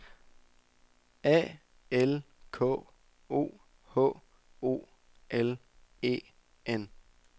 A L K O H O L E N